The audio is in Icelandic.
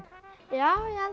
já ég